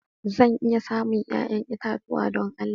Zan iya samun 'ya'yan itatuwa don Allah?